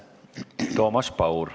Toomas Paur.